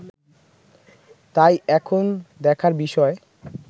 তাই এখন দেখার বিষয়